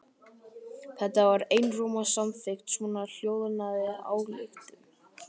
Þar var einróma samþykkt svohljóðandi ályktun